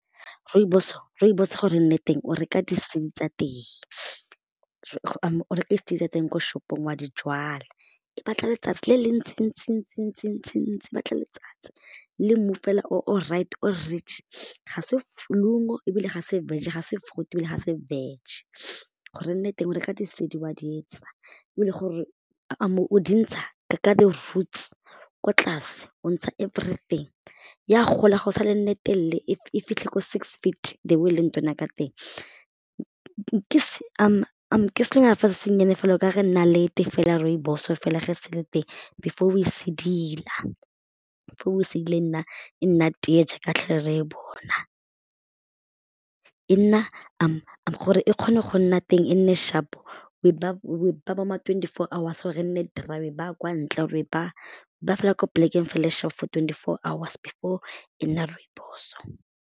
Rooibos gore e nne teng o reka di seed tsa teng o reke o reka di-seed tsa teng ko shop-ong wa di jwala e batla letsatsi le le ntsi-ntsi-ntsi-ntsi-ntsi-ntsi e batla letsatsi le mmu fela all right o rich ga se ebile ga se veg ga se fruit ebile ga se veg gore re nne teng o reka di-seed wa di etsa o dintsha ka the roots ko tlase everything ya gola go sa le nne telele fitlhe ko six feet the way e leng tona ka teng ke selonyana fela se sennyane fela o ka re nnalete fela rooibos fela fa e se le teng before o e sedila, before o e sedila e nna tee jaaka tlhole re e bona, e nna gore e kgone go nna tee e nne sharp o e baya bo ma twenty four hours gore e nne dry o e baya kwa ntle gore ba fela kwa polekeng fela sharp fela for twenty four hours before e nna rooibos-o.